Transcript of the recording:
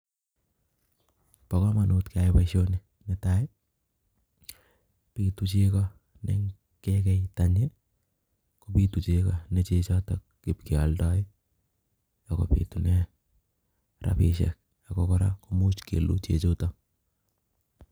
Bokomonut keyai boisoni nee tai bitu chego ye ngekei tanyi nee chechotok ib kee aldoi ako bitunee rabishek ak ko kora komuch ib kelu chechutok